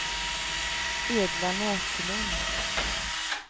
Edla Näslund